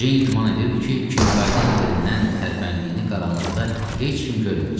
Ceyn güman edirdi ki, Kinkaydın yerindən tərpəndiyini qaranlıqda heç kim görməyəcək.